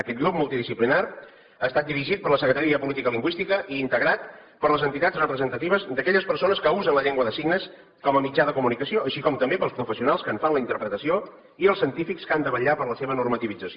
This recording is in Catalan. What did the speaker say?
aquest grup multidisciplinari ha estat dirigit per la secretaria de política lingüística i integrat per les entitats representatives d’aquelles persones que usen la llengua de signes com a mitjà de comunicació així com també pels professionals que en fan la interpretació i els científics que han de vetllar per la seva normativització